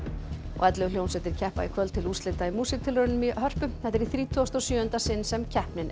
ellefu hljómsveitir keppa í kvöld til úrslita í músíktilraunum í Hörpu þetta er í þrítugasta og sjöunda sinn sem keppnin er